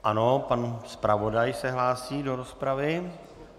Ano, pan zpravodaj se hlásí do rozpravy.